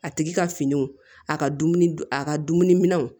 A tigi ka finiw a ka dumuni a ka dumuni minɛnw